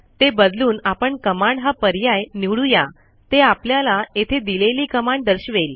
ते बदलून आपण कमांड हा पर्याय निवडू या ते आपल्याला येथे दिलेली कमांड दर्शवेल